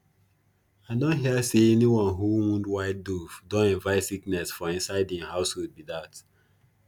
i don hear say anyone who wound white dove don invite sickness for inside hin household be dat